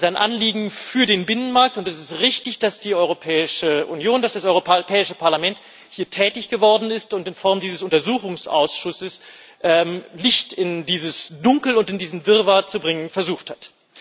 Das ist ein Anliegen für den Binnenmarkt, und es ist richtig, dass die Europäische Union, dass das Europäische Parlament hier tätig geworden ist und in Form dieses Untersuchungsausschusses Licht in dieses Dunkel und in diesen Wirrwarr zu bringen versucht hat.